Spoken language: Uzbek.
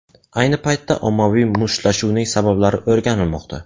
Ayni paytda ommaviy mushtlashuvning sabablari o‘rganilmoqda.